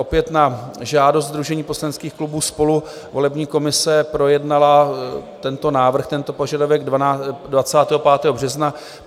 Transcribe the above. Opět na žádost sdružení poslaneckých klubů SPOLU volební komise projednala tento návrh, tento požadavek 25. března.